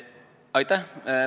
Aitäh!